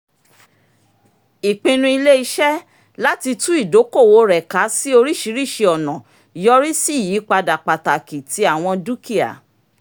ìpinnu ilé-iṣẹ́ láti tú ìdókòwò rẹ ká sí oríṣìíríṣìí ọ̀nà yọrí sí ìyípadà pàtàkì ti àwọn dukia